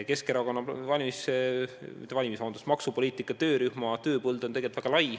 Keskerakonna maksupoliitika töörühma tööpõld on tegelikult väga lai.